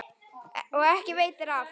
Og ekki veitir af.